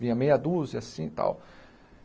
Vinha meia dúzia assim e tal.